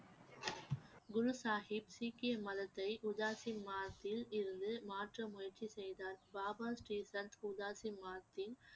குரு சாஹிப் சீக்கிய மதத்தை இருந்து மாற்ற முயற்சி செய்தார்